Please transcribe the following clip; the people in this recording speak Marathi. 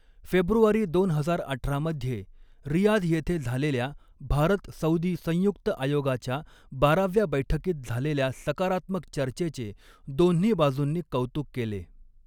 फेब्रुवारी दोन हजार अठरा मध्ये रियाध येथे झालेल्या भारत सऊदी संयुक्त आयोगाच्या बाराव्या बैठकीत झालेल्या सकारात्मक चर्चेचे दोन्ही बाजूंनी कौतुक केले.